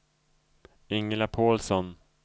Ingela Pålsson